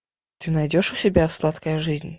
ты найдешь у себя сладкая жизнь